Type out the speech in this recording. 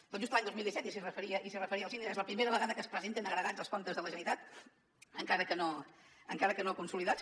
tot just l’any dos mil disset i s’hi referia el síndic és la primera vegada que es presenten agregats els comptes de la generalitat encara que no consolidats